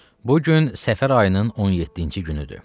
Bu gün səfər ayının 17-ci günüdür.